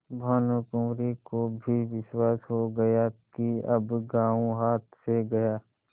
भानुकुँवरि को भी विश्वास हो गया कि अब गॉँव हाथ से गया